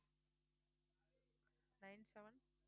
nine seven